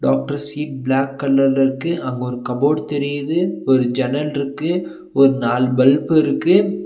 Doctor seat black கலர்ல இருக்கு அங்க ஒரு கபோர்ட் தெரிது ஒரு ஜன்னல்ருக்கு ஒரு நாலு பல்பு இருக்கு.